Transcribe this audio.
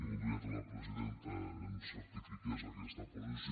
voldria que la presidenta ens certifiqués aquesta posició